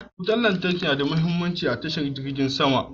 Wutar lantarki ta na da mahimmanci a tashar jirgin sama.